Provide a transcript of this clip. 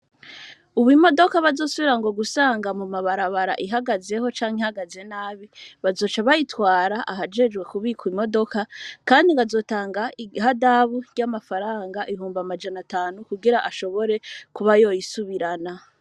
Ubu, imodoka, bazusubira ngo gusanga, mu mabarabara, ihagazeho, canke ihagaze nabi, bazoca bayitwara, ahajejwe kubwika, imodoka; kandi ngo, azotanga ihadabu, ry'amafaranga, ibihumbi amajana atanu, kugira ashobore, kuba yoyisubirana.